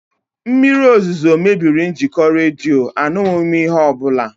Mmiri ozuzo mebiri njikọ redio, anụghị m ihe ọbụla